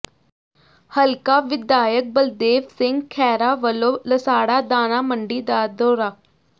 ਹਲਕਾ ਵਿਧਾਇਕ ਬਲਦੇਵ ਸਿੰਘ ਖੈਹਰਾ ਵੱਲੋਂ ਲਸਾੜਾ ਦਾਣਾ ਮੰਡੀ ਦਾ ਦੌਰਾ